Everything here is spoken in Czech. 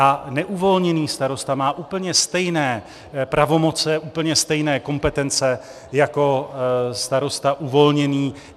A neuvolněný starosta má úplně stejné pravomoce, úplně stejné kompetence jako starosta uvolněný.